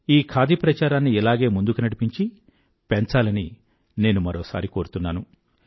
ఈ ఖాదీ ప్రచారాన్ని ఇలానే ముందుకు నడిపించి పెంచాలని నేను మరోసారి కోరుతున్నాను